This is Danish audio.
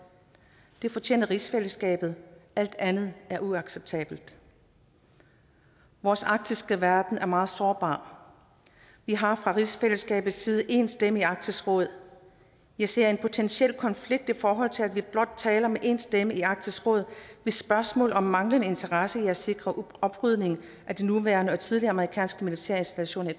det fortjener rigsfællesskabet alt andet er uacceptabelt vores arktiske verden er meget sårbar vi har fra rigsfællesskabets side en stemme i arktisk råd jeg ser en potentiel konflikt i forhold til at vi blot taler med en stemme i arktisk råd hvis spørgsmål om manglende interesse i at sikre oprydning af de nuværende og tidligere amerikanske militære installationer